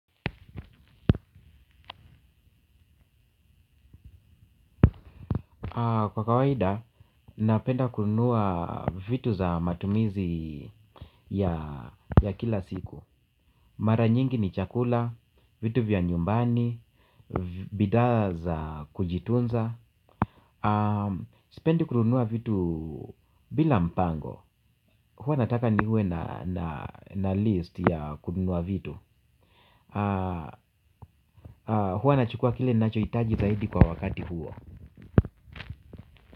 Kwa kawaida, napenda kununua vitu za matumizi ya kila siku. Mara nyingi ni chakula, vitu vya nyumbani, bidha za kujitunza. Sipendi kununua vitu bila mpango. Hua nataka niwe na list ya kununua vitu. Hua nachukua kile ninacho hitaji zaidi kwa wakati huo.